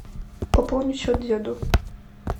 пополни счет деду